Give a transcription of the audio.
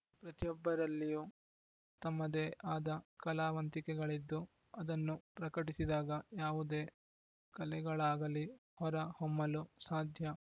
ಪ್ರತಿಯೊಬ್ಬರಲ್ಲಿಯೂ ತಮ್ಮದೇ ಆದ ಕಲಾವಂತಿಕೆಗಳಿದ್ದು ಅದನ್ನು ಪ್ರಕಟಿಸಿದಾಗ ಯಾವುದೇ ಕಲೆಗಳಾಗಲಿ ಹೊರ ಹೊಮ್ಮಲು ಸಾಧ್ಯ